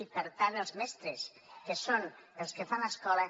i per tant els mestres que són els que fan l’escola